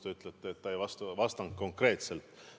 Te ütlete, et ta ei vastanud konkreetselt.